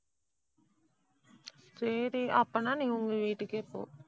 சரி அப்பன்னா நீங்க உங்க வீட்டுக்கே போ.